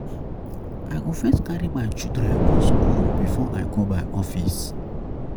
I go first carry my children go skool before I go my office.